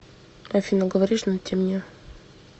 афина говоришь на темне